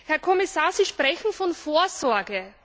Herr Kommissar, Sie sprechen von Vorsorge.